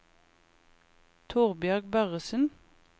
Torbjørg Børresen